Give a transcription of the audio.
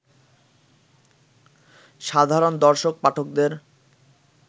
সাধারণ দর্শক-পাঠকদের